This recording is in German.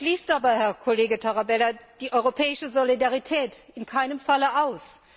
Das schließt aber Herr Kollege Tarabella die europäische Solidarität in keinem Falle